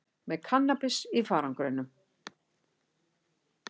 Með kannabis í farangrinum